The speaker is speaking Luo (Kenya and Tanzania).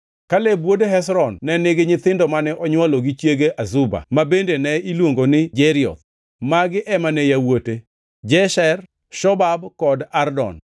Kaleb wuod Hezron ne nigi nyithindo mane onywolo gi chiege Azuba (ma bende ne iluongo ni Jerioth). Magi ema ne yawuote: Jesher, Shobab kod Ardon.